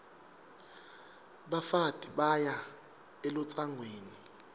bafati baya elutsangweni